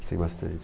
Que tem bastante.